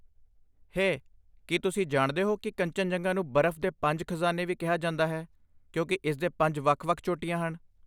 ਹੇ, ਕੀ ਤੁਸੀਂ ਜਾਣਦੇ ਹੋ ਕਿ ਕੰਚਨਜੰਗਾ ਨੂੰ 'ਬਰਫ਼ ਦੇ ਪੰਜ ਖ਼ਜ਼ਾਨੇ' ਵੀ ਕਿਹਾ ਜਾਂਦਾ ਹੈ, ਕਿਉਂਕਿ ਇਸ ਦੇ ਪੰਜ ਵੱਖ ਵੱਖ ਚੋਟੀਆਂ ਹਨ?